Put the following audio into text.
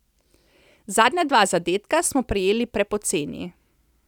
Zadnja dva zadetka smo prejeli prepoceni.